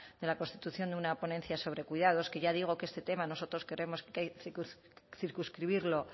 de la constitución de una ponencia sobre cuidados que ya digo que este tema nosotros creemos que hay que circunscribirlo